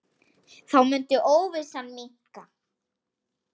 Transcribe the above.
Þá mundi óvissan minnka.